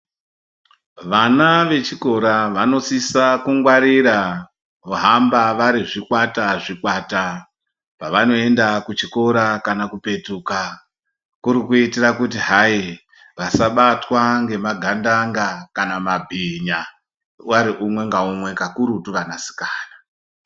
Vana vechikora vanosisa kungwarira vohamba vari zvikwata zvikwata pavanoenda kuchikora kana kupetuka kuri kuitira kuti hayi vasabatwa nemagandanga kana mabhinya vari umwe ngaumwe kakurutu vana sikana.